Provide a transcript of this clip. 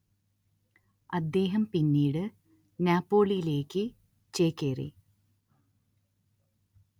അദ്ദേഹം പിന്നീട് നാപ്പോളിയിലേക്ക് ചേക്കേറി